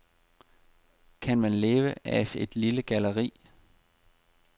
Kan man leve af et lille galleri?